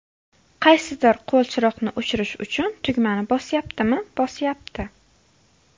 Qaysidir qo‘l chiroqni o‘chirish uchun tugmani bosyaptimi, bosyapti.